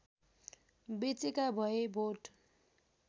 बचेका भए भोट